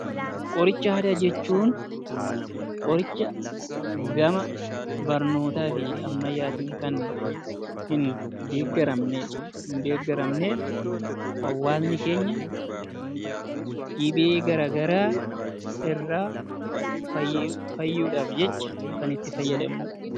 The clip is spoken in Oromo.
Qoricha aadaa jechuun qoricha gama ammayyaatiin gama barnootaa fi ammayyaatiin kan hin deeggaramne hawaasni keenya dhibee garaagaraa irraa fayyuuf jecha, kan itti fayyadamnudha.